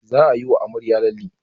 Za ayi wa amarya lalle